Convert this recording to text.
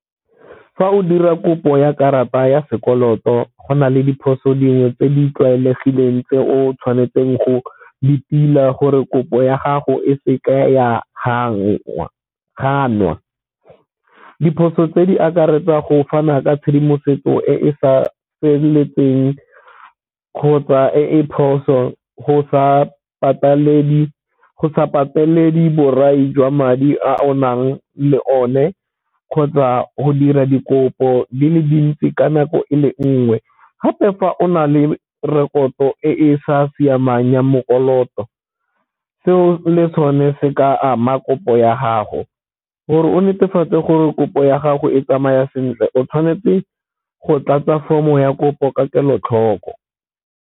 Fa o dira kopo ya karata ya sekoloto go na le diphoso dingwe tse di tlwaelegileng tse o tshwanetseng go di tila gore kopo ya gago e se ka ya ganwa. Diphoso tse di akaretsa go fana ka tshedimosetso e e sa feletseng kgotsa e e phoso go sa borai jwa madi a o nang le one kgotsa go dira dikopo di le dintsi ka nako ele nngwe. Gape fa o na le rekoto e e sa siamang ya , seo le sone se ka ama kopo ya gago. Gore o netefatse gore kopo ya gago e tsamaya sentle o tshwanetse go tlatsa form-o ya kopo ka kelotlhoko.